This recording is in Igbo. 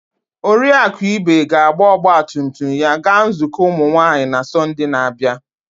Oriakụ Ibe ga-agba ọgba tum tum ya gaa nzukọ ụmụ nwanyị na Sọnde na-abịa.